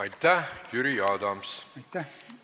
Aitäh, Jüri Adams!